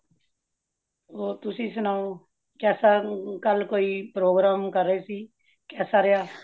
ਹੋਰ ਤੁਸੀਂ ਸੁਣਾਓ, ਕੇਸਾਂ ਕਾਲ ਕੋਈ program ਕਰ ਰਹੇ ਸੀ, ਕੇਸਾ ਰਹੀਆਂ